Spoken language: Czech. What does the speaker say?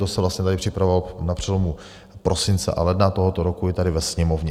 To se vlastně tady připravovalo na přelomu prosince a ledna tohoto roku i tady ve Sněmovně.